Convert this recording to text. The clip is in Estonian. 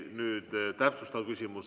Nüüd täpsustav küsimus.